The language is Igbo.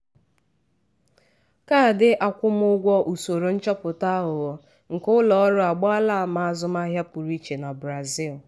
ndị ntinye ego nke nkeji ikpeazụ oge ụfọdụ na-ahọrọ uru dị ala n'ihi mkpebi ntinye ego ọsịịsọ.